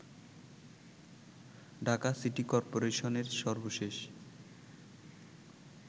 Dhaka city করপোরেশনের সর্বশেষ